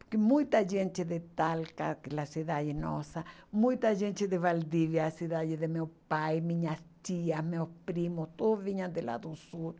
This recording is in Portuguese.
Porque muita gente de Talca, que é a cidade nossa, muita gente de Valdívia, a cidade de meu pai, minhas tias, meus primos, todos vinham de lá do sul.